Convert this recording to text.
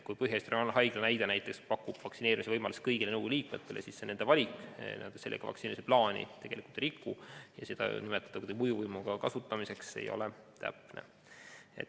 Kui Põhja-Eesti Regionaalhaigla pakub vaktsineerimise võimaluse kõigile nõukogu liikmetele, siis see on nende valik, sellega nad vaktsineerimisplaani ei riku ja nimetada seda mõjuvõimu kasutamiseks ei ole täpne.